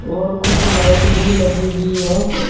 और कुछ लाइट भी लगी हुई है।